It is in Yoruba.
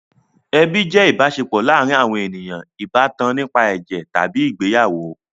Ẹbi jẹ́ ìbáṣepọ̀ láàárin àwọn ènìyàn ìbátan nípa ẹ̀jẹ̀ tàbí ìgbéyàwó.